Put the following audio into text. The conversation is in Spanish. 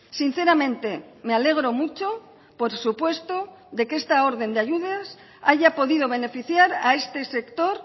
sinceramente me alegro mucho por supuesto de que esta orden de ayudas haya podido beneficiar a este sector